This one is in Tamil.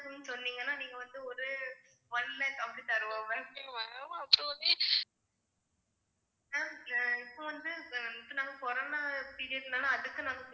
சொன்னீங்கன்னா நீங்க வந்து ஒரு one lakh அப்டி தருவோம் ma'am இப்ப வந்து நாங்க corona period னால அதுக்கு நாங்க